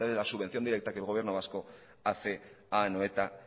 la subvención directa que el gobierno vasco hace a anoeta